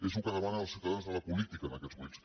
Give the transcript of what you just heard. és el que demanen els ciutadans a la política en aquests moments